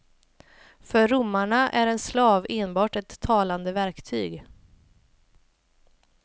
För romarna är en slav enbart ett talande verktyg.